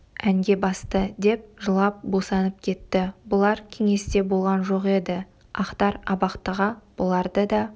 әнге басты деп жылап босанып кетті бұлар кеңесте болған жоқ еді ақтар абақтыға бұларды да